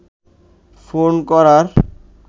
phone করার